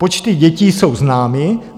Počty dětí jsou známy.